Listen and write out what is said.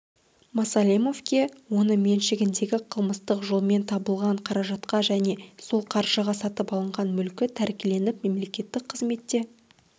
масалимовке оны меншігіндегі қылмыстық жолмен табылған қаражатқа және сол қаржыға сатып алынған мүлкі тәркіленіп мемлекеттік қызметте